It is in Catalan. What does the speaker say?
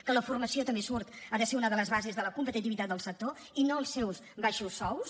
que la formació també surt ha de ser una de les bases de la competitivitat del sector i no els seus baixos sous